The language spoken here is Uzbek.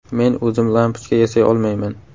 Men o‘zim lampochka yasay olmayman.